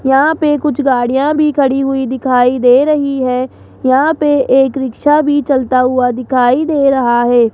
यहां पे कुछ गाड़ियां भी खड़ी हुई दिखाई दे रही हैं यहां पे एक रिक्शा भी चलता हुआ दिखाई दे रहा है।